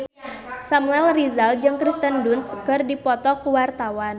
Samuel Rizal jeung Kirsten Dunst keur dipoto ku wartawan